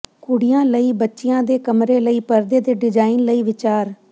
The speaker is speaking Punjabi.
ਕੁੜੀਆਂ ਲਈ ਬੱਚਿਆਂ ਦੇ ਕਮਰੇ ਲਈ ਪਰਦੇ ਦੇ ਡਿਜ਼ਾਇਨ ਲਈ ਵਿਚਾਰ